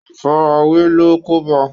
àfarawé ló kóbá a